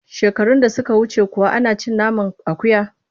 Shekarun da suka wuce kuwa ana cin naman akuya?